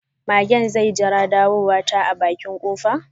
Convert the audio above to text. Magen zai jira ɗawowata a bakin kofa.